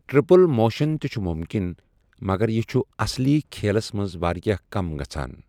Triple motion تہِ چھُ مُمکِن، مگر یہِ چھُ اصلی کھیلَس منٛز واریٛاہ کَم گژھَان۔